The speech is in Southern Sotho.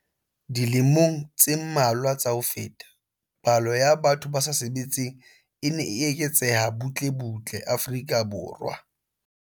Dilemong tse mmalwa tsa ho feta, palo ya batho ba sa sebetseng e ne e eketseha butle butle Afrika Borwa.